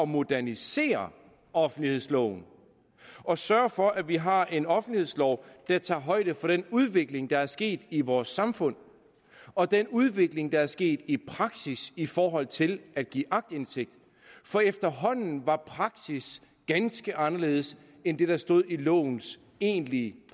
modernisere offentlighedsloven og sørge for at vi har en offentlighedslov der tager højde for den udvikling der er sket i vores samfund og den udvikling der er sket i praksis i forhold til at give aktindsigt for efterhånden var praksis ganske anderledes end det der stod i lovens egentlige